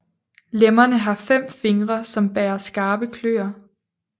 Lemmerne har fem fingre som bærer skarpe kløer